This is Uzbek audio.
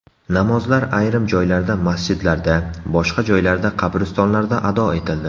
Namozlar ayrim joylarda masjidlarda, boshqa joylarda qabristonlarda ado etildi.